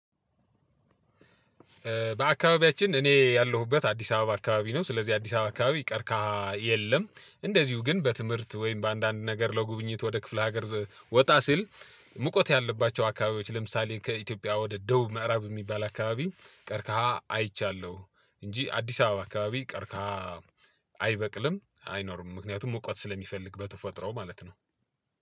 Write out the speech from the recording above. በአካባቢያችን እኔ ያለሁበት አዲስ አበባ አካባቢ ነው ስለዚህ አዲስ አበባ አካባቢ ቀርካሃ የለም። እንደዚሁ ግን በትምህርት ወይም በአንዳንድ ነገር ለጉብኝት ወደ ክፍለ ሀገር ወጣ ሲል። ሙቀት ያለባቸው አካባቢዎች ለምሳሌ ከኢትዮጵያ ወደ ደቡብ ምዕራብ የሚባል አካባቢ ቀርካሃ አይቻለሁ። እንጂ አዲስ አበባ አካባቢ ቀርካሀ አይበቅልም አይኖርም። ምክንያቱም ሙቀት ስለሚፈልግ በተፈጥሮው ማለት ነው።